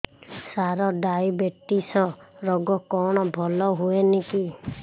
ସାର diabetes ରୋଗ କଣ ଭଲ ହୁଏନି କି